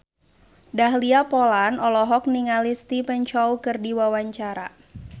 Dahlia Poland olohok ningali Stephen Chow keur diwawancara